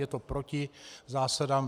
Je to proti zásadám.